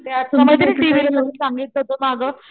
त्या तुला माहितेय का टीव्ही वर सांगितलं होत माग,